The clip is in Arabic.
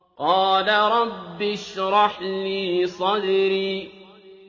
قَالَ رَبِّ اشْرَحْ لِي صَدْرِي